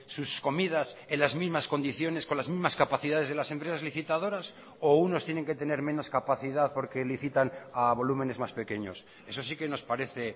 sus comidas en las mismas condiciones con las mismas capacidades de las empresas licitadoras o unos tienen que tener menos capacidad porque licitan a volúmenes más pequeños eso sí que nos parece